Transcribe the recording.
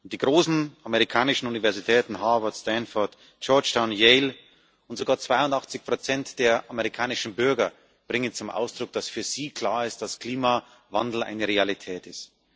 Die großen amerikanischen Universitäten Harvard, Stanford, Georgetown, Yale und sogar 82 der amerikanischen Bürger bringen zum Ausdruck, dass für sie klar ist, dass Klimawandel eine Realität ist.